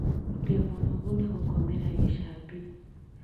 Ndĩ mũnogu ni gũkomera gĩcambi